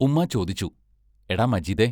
ഉമ്മാ ചോദിച്ചു: എടാ മജീദേ